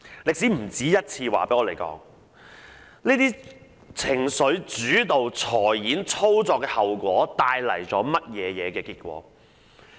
歷史不止一次告訴我們，這種情緒主導的財演操作帶來的後果。